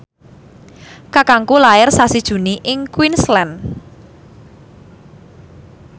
kakangku lair sasi Juni ing Queensland